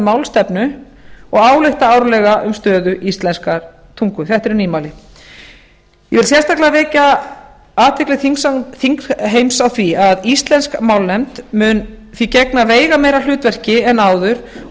málstefnu og álykta árlega um stöðu íslenskrar tungu þetta eru nýmæli ég vil sérstaklega vekja athygli þingheims á því að íslensk málnefnd mun því gegna veigameira hlutverki en áður og